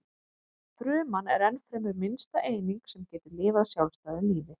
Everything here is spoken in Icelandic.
Fruman er ennfremur minnsta eining sem getur lifað sjálfstæðu lífi.